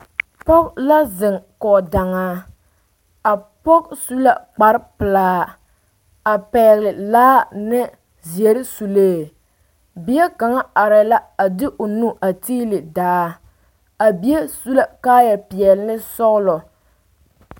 Pɔge la zeŋ kɔge daŋaa a pɔge su la kpar pelaa a pɛgele laa ne seɛre sulee bie kaŋa arɛɛ la a de o nu a tiili daa a bie su la kaayɛ peɛle ne sɔgelɔ